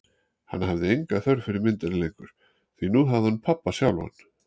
Hann hafði enga þörf fyrir myndina lengur, því nú hafði hann pabba sjálfan.